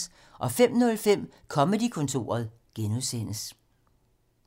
05:05: Comedy-kontoret (G)